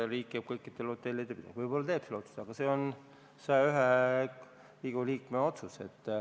Võib-olla teebki selle otsuse, aga see on 101 Riigikogu liikme otsus.